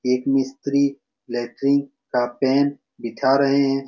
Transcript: एक मिस्त्री लेट्रिंग का पेन बिठा रहे है।